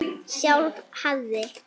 Sjálf hafði